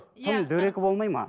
тым дөрекі болмайды ма